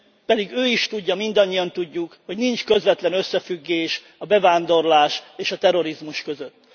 Pedig ő is tudja, mindannyian tudjuk, hogy nincs közvetlen összefüggés a bevándorlás és a terrorizmus között.